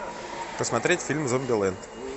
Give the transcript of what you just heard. посмотреть фильм зомбилэнд